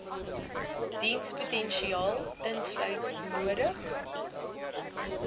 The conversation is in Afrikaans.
dienspotensiaal insluit nodig